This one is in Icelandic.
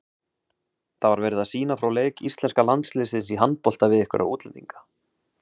Það var verið að sýna frá leik íslenska landsliðsins í handbolta við einhverja útlendinga.